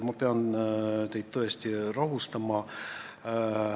Ma pean teid tõesti rahustama.